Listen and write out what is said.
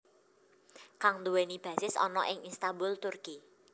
Kang nduwèni basis ana ing Istanbul Turki